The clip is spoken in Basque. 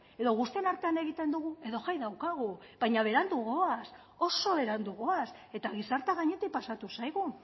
edo guztien artean egiten dugu edo jai daukagu baina berandu goaz oso berandu goaz eta gizartea gainetik pasatu zaigu